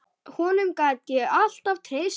Honum gat ég alltaf treyst.